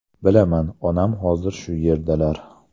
Bilaman, onam hozir shu yerdalar.